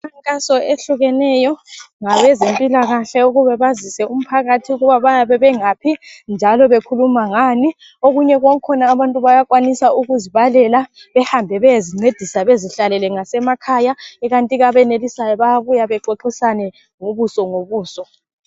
Umkhankaso eyehlukeneyo ngabezempilakahle ukuba bazise umphakathi ukuba bayabe bengaphi njalo bekhuluma ngani okunye kwakhona abantu bayakwanisa ukuzibalela behambe beyezincedisa ngasemakhaya ikantike abenelisayo bayabuya bexoxisane ngobuso ngobuso.